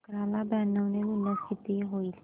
अकरा ला ब्याण्णव ने गुणल्यास किती होतील